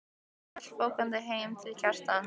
og hélt fótgangandi heim til Kjartans.